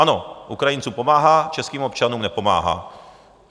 Ano, Ukrajincům pomáhá, českým občanům nepomáhá.